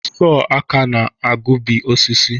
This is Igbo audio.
Sọr aka na-egbubi osisi.